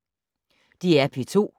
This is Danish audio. DR P2